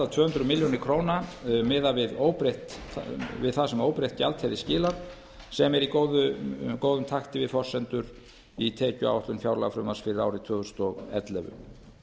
tvö hundruð milljóna króna milli ára miðað við það sem óbreytt gjald hefði skilað sem er í góðum takti við forsendur í tekjuáætlun fjárlagafrumvarps fyrir árið tvö þúsund og ellefu